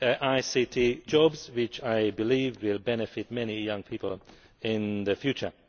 on ICT jobs which I believe will benefit many young people in the future.